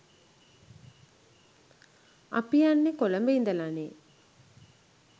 අපි යන්නේ කොළඹ ඉඳලානේ